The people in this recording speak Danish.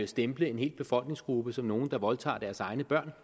stempler en hel befolkningsgruppe som nogle der voldtager deres egne børn